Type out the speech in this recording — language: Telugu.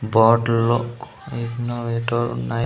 బాటిల్ లో నై--